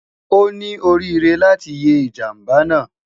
O ni orire lati ye ijamba naa